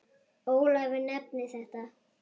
Ólafur nefnir þetta